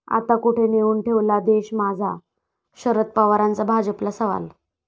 आता, कुठे नेऊन ठेवला देश माझा?, शरद पवारांचा भाजपला सवाल